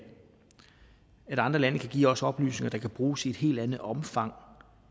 andre lande kan give os oplysninger der kan bruges i et helt andet omfang